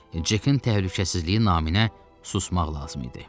Amma Cekin təhlükəsizliyi naminə susmaq lazım idi.